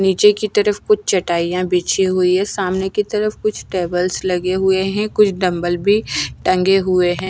नीचे की तरफ कुछ चटाइयां बिछी हुई हैं सामने की तरफ कुछ टेबल्स लगे हुए हैं कुछ डंबल भी टंगे हुए हैं।